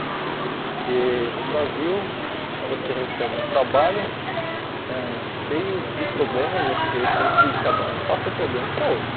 Porque o Brasil você recebe um trabalho ãh cheio de problemas, você tem que cada um passa o problema para outro.